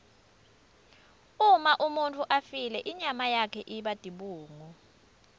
uma umuntfu afile inyama yakhe iba tibungu